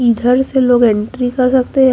इधर से लोग एंट्री कर सकते हैं।